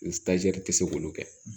tɛ se k'olu kɛ